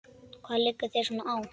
Hvað liggur þér svona á?